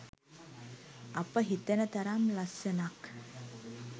අප හිතන තරම් ලස්සනක්